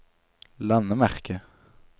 landemerke